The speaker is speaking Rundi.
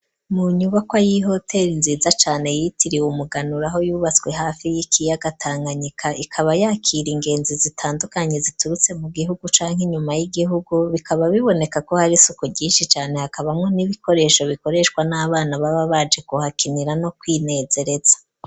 Mu nyubawa, y'ihoteri nziza cane, yitiriye umuganuro, aho yubatswe, hafi y'ikiyaga Tanganyika; ikaba yakira, ingenzi zitandukanye, ziturutse mu gihugu, canke inyuma y'igihugu; bikaba biboneka ko, hari isuku ryinshi cane, hakabamwo n'ibikoresho, bikoreshwa n'abana, baba baje kuhakinira, no kwinezereza.